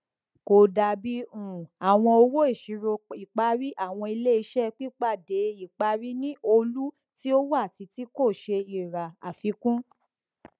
kò dàbí um àwọn owóìṣìróìparí àwọn iléiṣẹ pípàdéìparí ní ọlú tí ó wà títí kò ṣe ìrà àfikún